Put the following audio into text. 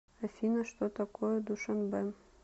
афина что такое душанбе